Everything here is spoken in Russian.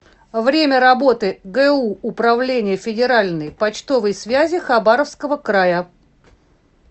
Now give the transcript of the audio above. время работы гу управление федеральной почтовой связи хабаровского края